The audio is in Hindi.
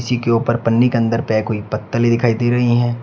जी के ऊपर पन्नी के अंदर पैक हुई पत्तलें दिखाई दे रही हैं।